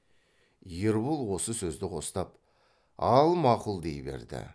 ербол осы сөзді қостап ал мақұл дей берді